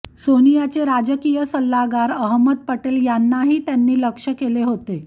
सोनियाचे राजकीय सल्लागार अहमद पटेल यांनाही त्यांनी लक्ष्य केले होते